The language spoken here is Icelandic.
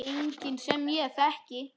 Enginn sem ég þekki.